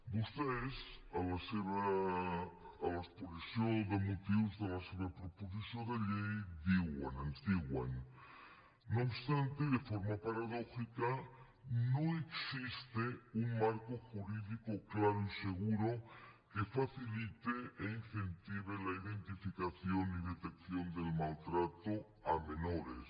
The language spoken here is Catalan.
vostès a l’exposició de motius de la seva proposició de llei diuen ens diuen no obstante y de forma paradójica no existe un marco jurídico claro y seguro que facilite e incentive la identificación y detección del maltrato a menores